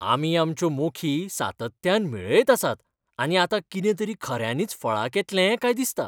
आमी आमच्यो मोखी सातत्यान मेळयत आसात आनी आतां कितें तरी खऱ्यांनीच फळाक येतलें काय दिसता.